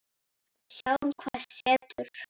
Sjáum hvað setur.